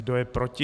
Kdo je proti?